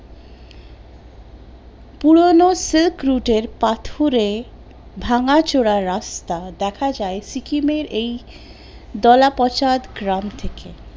পুরোনো silk route এর পাথরে ভাঙ্গাচোরা রাস্তা দেখা যায় সিকিমের এই দলাপঁছাদ গ্রাম থেকে